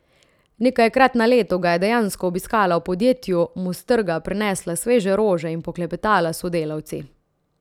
Nekajkrat na leto ga je dejansko obiskala v podjetju, mu s trga prinesla sveže rože in poklepetala s sodelavci.